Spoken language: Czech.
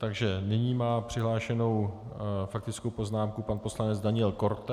Takže nyní má přihlášenu faktickou poznámku pan poslanec Daniel Korte.